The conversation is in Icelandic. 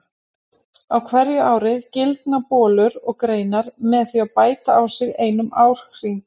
Á hverju ári gildna bolur og greinar með því að bæta á sig einum árhring.